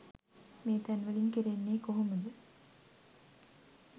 මේ තැන්වලින් කරන්නේ කොහොමද?